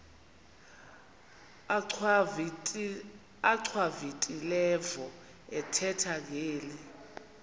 achwavitilevo ethetha ngeli